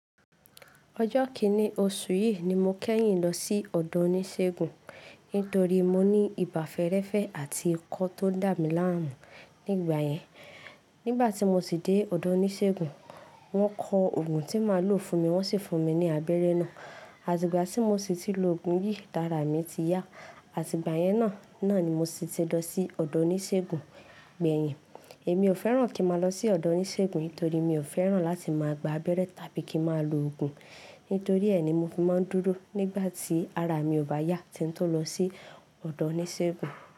Ọjọ́ kíní oṣù yìí ni mo kẹ́yìn lọ sí ọ̀dọ̀ oníṣègùn nítorí mo ní ibà fẹ́ẹ́rẹ́fẹ́ àti ikọ́ tó ń dà mí láàrùn nígbà yẹn. Nígbà tí mo ti dé ọ̀dọ̀ oníṣègùn, wọ́n kọ ògùn tí màá lò fún mi wọ́n sì fún mi ní abẹ́rẹ́ náà. Àti ìgbà tí mo sì ti lo ògùn yìí, la ara mi ti yá. Àti ìgbà yẹn náà ni mo sì ti lọ sí ọ̀dọ̀ oníṣègùn gbẹ̀yìn. Èmi ò fẹ́ràn kí màá lọ sí ọ̀dọ̀ oníṣègùn torí mi ò fẹ́ràn láti máa gba abẹ́rẹ́ tàbí kí màá lo ògùn. Nítorí ẹ ni mo fi máa ń dúró nígbà tí ara mi ò bá yá tí n tó lọ sí ọ̀dọ̀ oníṣègùn.